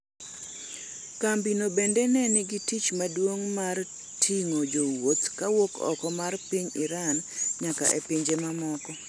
kambi no bende na nigi tich maduong' mar ting'o jowuoth kawuok oko mar piny Iran nyaka e pinje mamoko